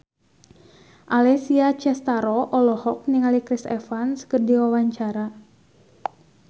Alessia Cestaro olohok ningali Chris Evans keur diwawancara